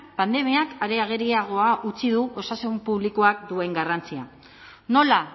pandemiak are ageriagoa utzi du osasun publikoak duen garrantzia nola